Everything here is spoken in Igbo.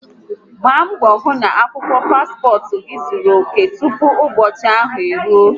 Gbaa mbo hu na akwukwo paspot gi zuru oke tupu ubochi ahu eruo